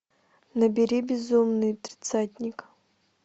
набери безумный тридцатник